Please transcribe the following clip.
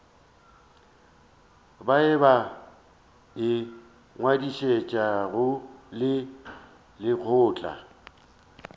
bao ba ingwadišitšego le lekgotla